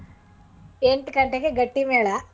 ಎಂಟ್ಗಂಟೆಗೆ ಗಟ್ಟಿಮೇಳ.